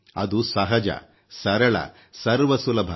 ಅದು ಸಹಜ ಸರಳ ಸರ್ವ ಸುಲಭ